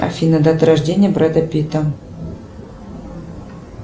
афина дата рождения брэда питта